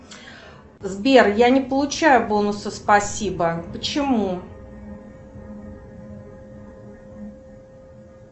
сбер я не получаю бонусы спасибо почему